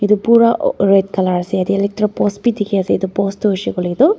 Etu pura red colour ase tarte electric post bhi dekhi ase etu post tu hoshe koile tu --